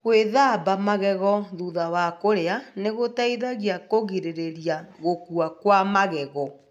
Gwíthamba magego thutha wa kũrĩa nĩ gũteithagia kũgirĩrĩria gũkua kwa magego.